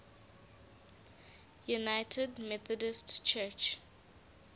united methodist church